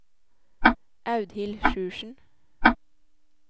Audhild Sjursen